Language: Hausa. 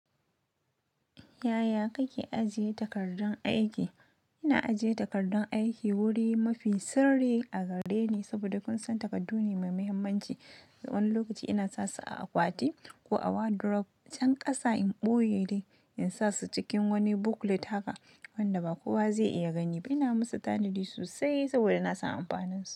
Yaya kake ajiye takardun aiki? Ina ajiye takardun aiki wuri mafi sirri a gareni saboda kun san takardu ne mai muhimmanci. Wani lokaci ina sa su a akwati ko a wardrobe can kasa in ɓoye. In sa su cikin wani booklet haka wanda ba kowa zai iya gani ba. Ina musu tanadi sosai saboda na san amfaninsu.